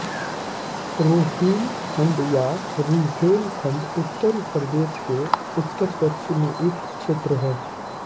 रोहिलखंड या रुहेलखण्ड उत्तर प्रदेश के उत्तरपश्चिम में एक क्षेत्र है